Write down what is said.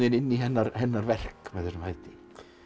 inn í hennar hennar verk með þessum hætti